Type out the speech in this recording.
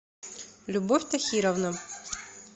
любовь тахировна